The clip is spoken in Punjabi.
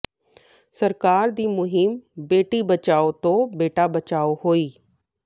ਸਰਕਾਰ ਦੀ ਮੁਹਿੰਮ ਬੇਟੀ ਬਚਾਓ ਤੋਂ ਬੇਟਾ ਬਚਾਓ ਹੋਈ